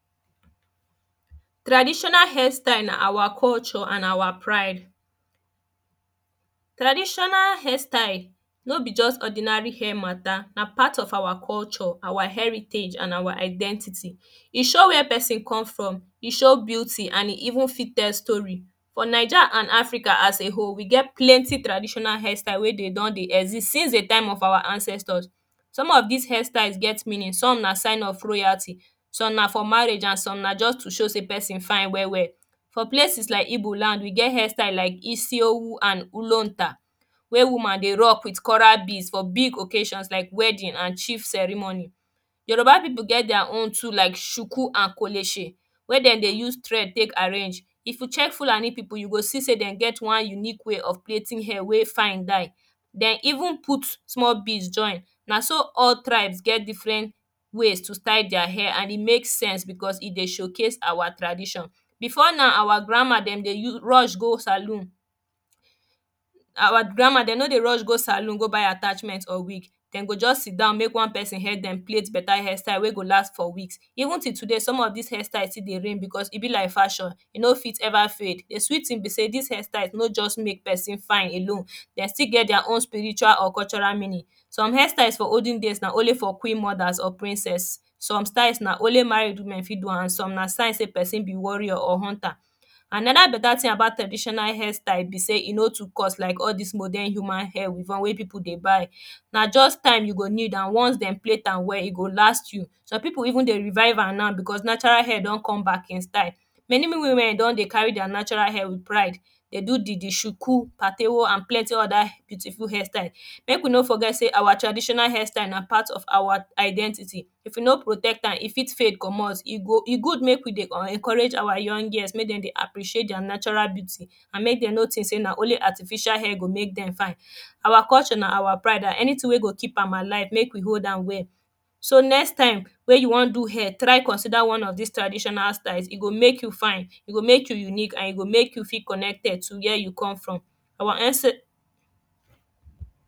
traditional hairstyle na awa culture and awa pride traditional hairstyle no be just ordinary hair mata na part of awa culture and heritage and awa identity e show wey person come from, e show beauty and even fit tell story but naija and africa as a whole, we get plenty traditional hairstyle wey dey don dey exist since the time of awa ancestors some of this hairstyles get meaning, some na sign of royalty some na for marriage, some na to show sey person fine well well for places like igbo land we get hairstyles like isiewu and ulonta wey woman dey rock with coral beads for big occasions like wedding and chief ceremony yoruba people get their own like suku and kolese wey dem dey use thread take arrange if you check fulani people you go see sey dem get one unique way of plating hair wey fine die dem even put small beads join. na so all tribes get difren way to style their hair an e make sense because e dey show case awa tradition before now awa grandma, dem dey rush go salon awa grandma, dem no dey rush go salon go buy attachment or wig dem go just sidon make one person help them plait beta hairstyle wey go last for weeks even till today some of these hairstyes still dey reign because e be like fashion e no fit ever fade. the sweet thing be sey these hairstyles no just make person fine alone dey still get their own spiritual or cultural meaning some hairstyles for olden days na only for queenmodas or princess some styles na only married woman dem fit do am and some na sign sey person be warrior or hunter and another beta tin about traditional hairstyle be sey e no too cost like all this modern human hair weavon wey people dey buy na just time you go need and once dem plaite am well e go last you. some people even dey revive am now because natural hair don come back hin style many women don dey carry their natural hair with pride dey do the suku patewo and plaiting oda beautiful hairstyle make we no forget say awa traditional hairstye na pat of awa identity if we no protect am e fit fade comot e good make we dey encourage awa young girls make dem dey appreciate their natural hair and mae dem no tink say only artificial hair go make dem fine awa culture na awa pride and anytin wey go keep am alive, make we hold am well so next time wen you wan do hair, try consider one of this traditional styles e go make you fine e go make you unique and e go make you feel connected to wey you come fromawa ance